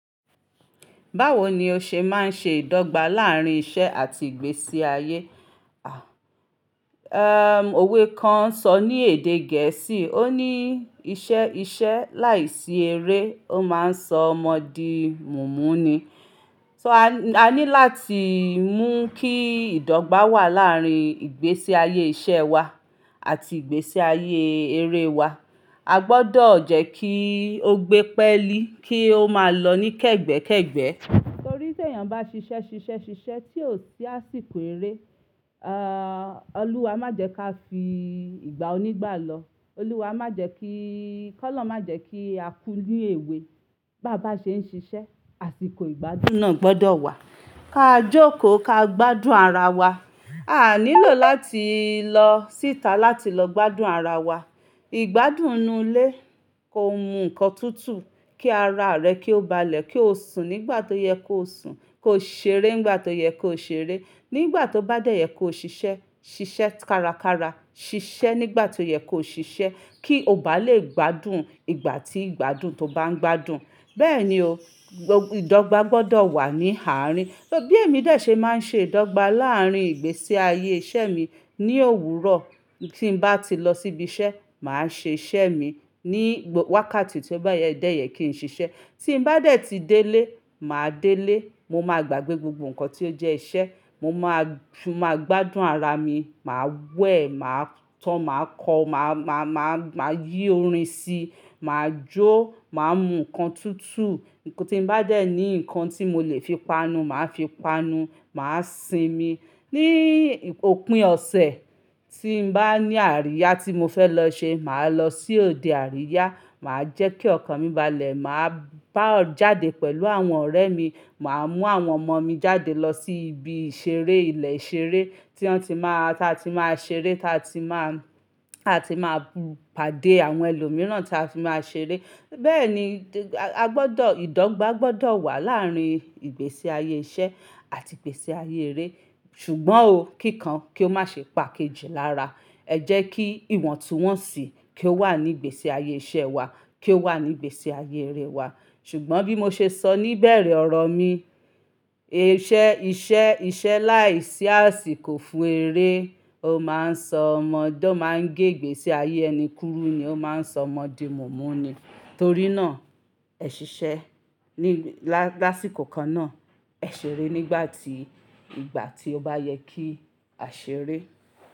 Báwo ni o ṣe máa ń ṣe ìdọ́gba láàárín iṣẹ́ àti ìgbésí ayé? À, ẹm, òwe kan sọ ní èdè gẹ̀ẹ́sì, ó ní: "Iṣẹ́, iṣẹ́ láìsí eré, ó máa ń sọ ọmọ di mùnmú ni." So a ní, a ní láti mú kí ìdọ́gba wà láàárín ìgbésí ayé iṣẹ́ wa àti ìgbésí ayé eré wa. A gbọ́dọ̀ jẹ́ kí ó gbé pẹ́ lí, kí ó máa lọ ní kẹ́gbẹ́kẹ́gbẹ́. Nítorí pé èèyàn bá ṣiṣẹ́, ṣiṣẹ́, ṣiṣẹ́ tí ò sí àsìkò eré, a, Olúwa má jẹ ka fi ìgbà onígbà lọ. Olúwa má jẹ kí-- kọ́ lórun má jẹ kí a kú ní èwe. Bá bá ṣe ń ṣiṣẹ́, àsìkò ìgbádùn náà gbọ́dọ̀ wà. Ka jókòó, ka gbádùn ara wa. A nílò láti lọ síta láti lọ gbádùn ara wa. Ìgbádùn ni ilé, ko mu nnkan tútù, kí ara rẹ kí ó balẹ̀, kí o sùn nígbà tó yẹ kó o sùn, kó o ṣeré nígbà tó yẹ kó o ṣeré, nígbà tó bá dẹ́yẹ kó o ṣiṣẹ́, ṣiṣẹ́ kárakára, ṣiṣẹ́ nígbà tó yẹ kó o ṣiṣẹ́, kí o bá lè gbádùn ìgbà tí ìgbádùn tó bá ń gbádùn. Bẹ́ẹ̀ni o, ìdọ́gba gbọ́dọ̀ wà ní àárín. Bí èmi dẹ̀ ṣe máa ń ṣe ìdọ́gba láàárín ìgbésí ayé iṣẹ́ mi. Ni òwúrọ̀ tí n bá ti lọ síbi iṣẹ́, màá ṣe iṣẹ́ mi. Ni wákàtí tí ó bá dẹ́yẹ kí n ṣiṣẹ́. Tí n bá dẹ̀ ti délé, màá délé. Mo máa gbàgbé gbogbo nnkan tí ó jẹ́ iṣẹ́. Mo máa jù, mo màá gbádùn ara mi. Màá wẹ̀, màá tọ́, màá kọ, màá, màá, màá màá yí orin sí i, màá jó, màá mu nnkan tútù. Nnkan tí n bá dẹ̀ ní nnkan tí mo lè fi panu, màá fi panu, màá sinmi. Ni òpin ọ̀sẹ̀, tí n bá ní àríyá tí mo fẹ́ lọ ṣe, màá lọ sí òde àríyá. Màá jẹ́ kí ọkàn mi balẹ̀. Màá bá ọ jáde pẹ̀lú àwọn ọ̀rẹ́ mi. Màá mú àwọn ọmọ mi jáde lọ sí ibi ìṣeré, ilé ìṣeré tí wọ́n ti máa, tí a ti máa ṣeré, tí a ti máa, a ti máa pàdé àwọn ẹlòmíràn tí a ti máa ṣeré. Bẹ́ẹ̀ ni, a gbọ́dọ̀, ìdọ́gba gbọ́dọ̀ wà láàárín ìgbésí ayé iṣẹ́ àti ìgbésí ayé eré. Ṣùgbọ́n o, kíkan kí ó má ṣe pa kejì lára. Ẹ jẹ́ kí ìwọ̀ntúnwọ̀nsì kí ó wà ní ìgbésí ayé iṣẹ́ wa, kí ó wà ní ìgbésí ayé eré wa. Ṣùgbọ́n bí mo ṣe sọ níbẹ̀rẹ̀ ọ̀rọ̀ mi, iṣẹ́, iṣẹ́, iṣẹ́ láìsí àsìkò fún eré, ó máa ń sọ ọmọ, tó máa ń gbé ìgbésí ayé ẹni kúrú ni, ó máa ń sọ ọmọ di mùnmú ni. Torí náà, ẹ ṣiṣẹ́ ní, lásìkò kan náà, ẹ ṣeré nígbà tí, ìgbà tí ó bá yẹ kí a ṣeré.